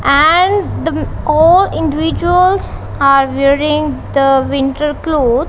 and all individuals are wearing the winter clothes.